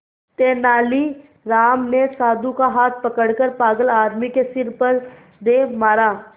तेनालीराम ने साधु का हाथ पकड़कर पागल आदमी के सिर पर दे मारा